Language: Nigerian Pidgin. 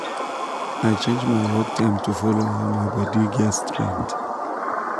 i change my work time to follow how my body get strength